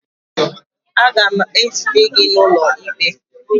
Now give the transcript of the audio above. Aga m ezute gị n'ụlọ ikpe